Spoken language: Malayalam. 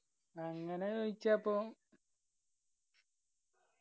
അങ്ങനെ ചോയ്ച്ച ഇപ്പോ